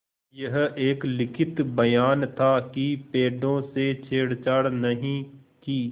यह एक लिखित बयान था कि पेड़ों से छेड़छाड़ नहीं की